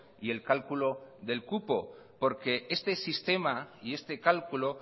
y el cálculo del cupo porque este sistema y este cálculo